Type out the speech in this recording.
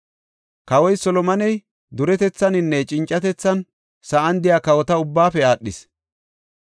Kawoy Solomoney duretethaninne cincatethan sa7an de7iya kawota ubbaafe aadhees.